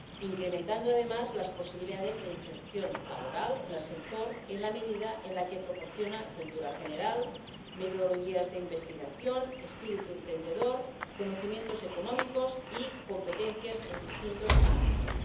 incrementando, además, las posibilidades de inserción laboral en el sector, en la medida en que proporciona cultura general, metodologías de investigación, espíritu emprendedor, conocimientos económicos y competencias en distintos ámbitos.